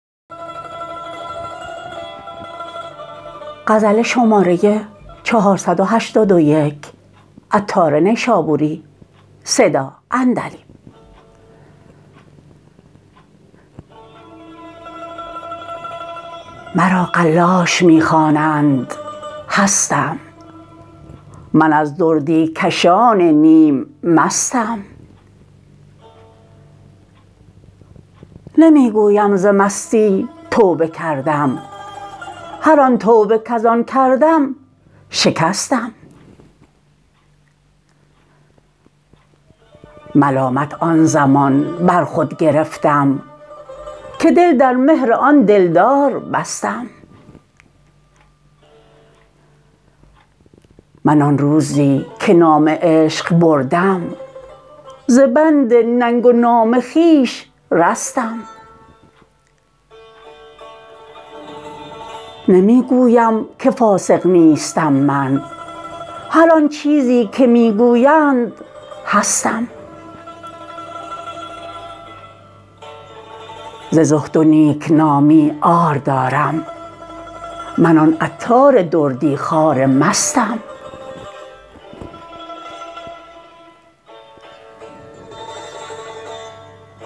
مرا قلاش می خوانند هستم من از دردی کشان نیم مستم نمی گویم ز مستی توبه کردم هر آن توبه کزان کردم شکستم ملامت آن زمان بر خود گرفتم که دل در مهر آن دلدار بستم من آن روزی که نام عشق بردم ز بند ننگ و نام خویش رستم نمی گویم که فاسق نیستم من هر آن چیزی که می گویند هستم ز زهد و نیکنامی عار دارم من آن عطار دردی خوار مستم